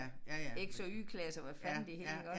Ik så Y klasse og hvad fanden det hed iggå